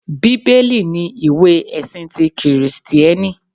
Bíbélì ni ìwé ẹ̀sin ti Kìrìsìtíẹ́nì